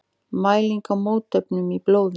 Mæling á mótefnum í blóði.